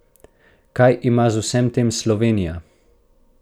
Kaj ima z vsem tem Slovenija?